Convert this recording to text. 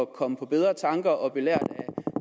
komme på bedre tanker og belært af